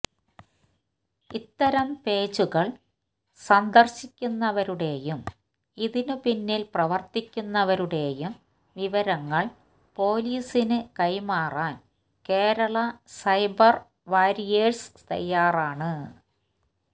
ഇത്തരം പേജുകള് സന്ദര്ശിക്കുന്നവരുടെയും ഇതിനു പിന്നില് പ്രവര്ത്തിക്കുന്നവരുടെയും വിവരങ്ങള് പോലീസിനു കൈമാറാന് കേരളാ സൈബര് വാരിയേഴ്സ് തയാറാണ്